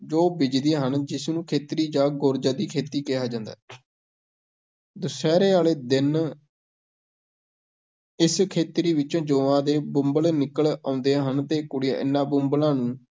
ਜੌਂ ਬੀਜਦੀਆਂ ਹਨ, ਜਿਸ ਨੂੰ ਖੇਤਰੀ ਜਾਂ ਗੌਰਜਾਂ ਦੀ ਖੇਤੀ ਕਿਹਾ ਜਾਂਦਾ ਹੈ ਦਸਹਿਰੇ ਵਾਲੇ ਦਿਨ ਇਸ ਖੇਤਰੀ ਵਿੱਚੋਂ ਜੌਂਆਂ ਦੇ ਬੰਬਲ ਨਿਕਲ ਆਉਂਦੇ ਹਨ ਤੇ ਕੁੜੀਆਂ ਇਹਨਾਂ ਬੁੰਬਲਾਂ ਨੂੰ